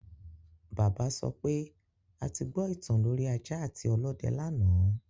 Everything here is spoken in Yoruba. Bàbá sọ pé a ti gbọ ìtàn lorí ajá àti ọlọ́dẹ lánàá